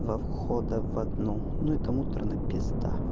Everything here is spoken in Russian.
два входа в одну ну это муторно пизда